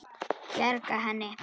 Bjarga henni?